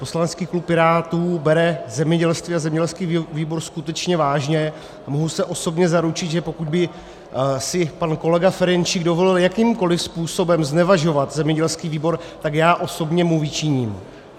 Poslanecký klub Pirátů bere zemědělství a zemědělský výbor skutečně vážně a mohu se osobně zaručit, že pokud by si pan kolega Ferjenčík dovolil jakýmkoliv způsobem znevažovat zemědělský výbor, tak já osobně mu vyčiním.